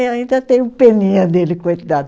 Eu ainda tenho peninha dele, coitado.